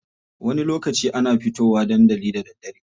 Wani lokaci ana fito wa dandali da daddare.